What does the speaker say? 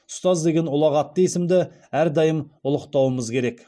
ұстаз деген ұлағатты есімді әрдайым ұлықтауымыз керек